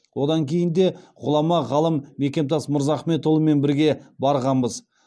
одан кейін де ғұлама ғалым мекемтас мырзахметұлымен бірге барғанбыз